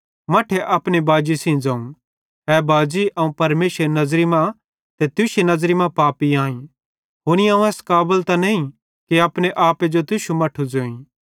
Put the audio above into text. मट्ठे अपने बाजी सेइं ज़ोवं ए बाजी अवं परमेशरेरी नज़री मां ते तुश्शी नज़री मां पापी आईं हुनी अवं एस काबल त नईं कि अपने आपे जो तुश्शू मट्ठू ज़ोई